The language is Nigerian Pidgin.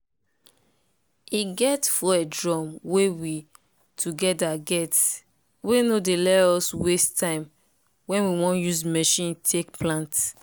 e get fuel drum wey we togeda get wey no dey ley us waste time wen we wan use machine take plant.